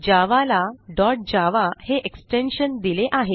जावा ला डॉट javaहे extensionदिले आहे